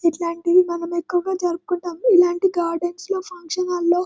ఇట్లాంటివి మనము ఎక్కువగా జరుపుకుంటాము ఇలాంటి గార్డెన్స్ లో ఫంక్షన్ హాల్ లో --